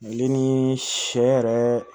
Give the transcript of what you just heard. Ale ni sɛ yɛrɛ